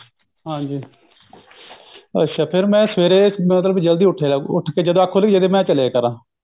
ਹਾਂਜੀ ਅੱਛਾ ਫੇਰ ਮੈਂ ਸਵੇਰੇ ਜਲਦੀ ਉੱਠ ਜਾ ਮਤਲਬ ਉੱਠ ਕੇ ਜਦੋਂ ਅੱਖ ਖੁੱਲੀ ਜੜੇ ਮੈਂ ਚਲਜਿਆ ਕਰ